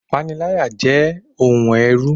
Ìpaniláyà jẹ́ ohun ẹ̀rù